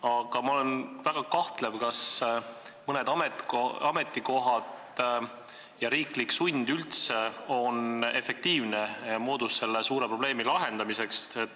Aga ma olen väga kahtlev, kas mõni ametikoht ja riiklik sund üldse on efektiivne moodus selle suure probleemi lahendamiseks.